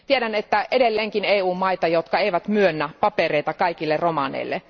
Tiedän, että on edelleenkin EU maita, jotka eivät myönnä papereita kaikille romaneille.